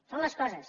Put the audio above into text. són les coses